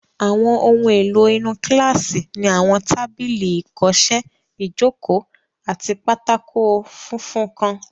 Àwọn ohun èlò inú kílásì ni àwọn tábìlì ìkọsẹ́, ìjòkó, àti pátákó funfun kan